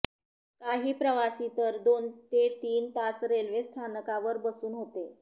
काही प्रवासी तर दोन ते तीन तास रेल्वे स्थानकावर बसून होते